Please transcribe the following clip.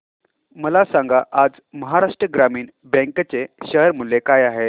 मला सांगा आज महाराष्ट्र ग्रामीण बँक चे शेअर मूल्य काय आहे